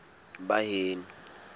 baheno